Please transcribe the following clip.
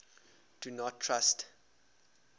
do not trust